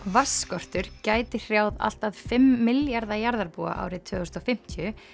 vatnsskortur gæti hrjáð allt að fimm milljarða jarðarbúa árið tvö þúsund og fimmtíu